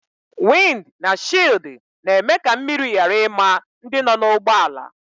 Wịnd na shịldi na-eme ka mmiri ghara ima ndị nọ n'ụgbọala